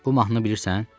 Bu mahnını bilirsən?